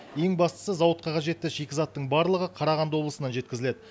ең бастысы зауытқа қажетті шикізаттың барлығы қарағанды облысынан жеткізіледі